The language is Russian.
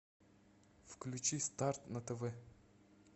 включи старт на тв